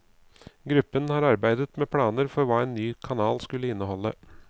Gruppen har arbeidet med planer for hva en ny kanal skulle inneholde.